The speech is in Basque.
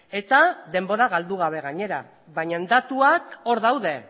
eta denbora galdu gabe gainera baina datuak hor daude